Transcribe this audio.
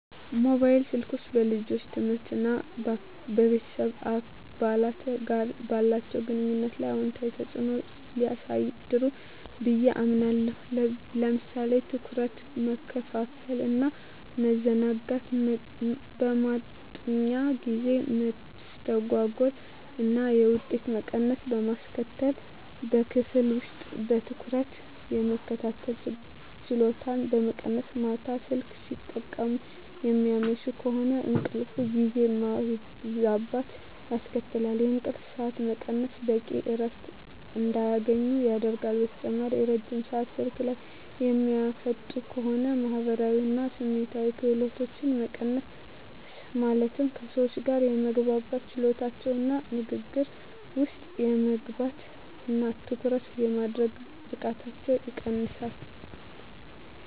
ሞባይል ስልኮች በልጆች ትምህርት እና ከቤተሰብ አባላት ጋር ባላቸው ግንኙነት ላይ አሉታዊ ተጽዕኖ ሊያሳድሩ ብየ አምናለሁ። ለምሳሌ ትኩረት መከፋፈል እና ማዘናጋት፣ የማጥኛ ጊዜ መስተጓጎል እና የውጤት መቀነስ በማስከትል፣ በክፍል ውስጥ በትኩረት የመከታተል ችሎታን በመቀነስ፣ ማታ ስልክ ሲጠቀሙ የሚያመሹ ከሆነ እንቅልፍ ጊዜን ማዛባት ያስከትላል፣ የእንቅልፍ ሰዓት መቀነስ በቂ እረፍት እንዳያገኙ ያደርጋል። በተጨማሪም ረጅም ሰአት ስልክ ላይ የሚያጠፉ ከሆነ የማህበራዊ እና ስሜታዊ ክህሎቶች መቀነስ ማለትም ከሰዎች ጋር የመግባባት ችሎታቸውን እና ንግግር ውስጥ የመግባት እና ትኩረት የማድረግ ብቃታቸውን ይቀንሰዋል።